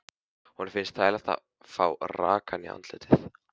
Honum finnst þægilegt að fá rakann í andlitið.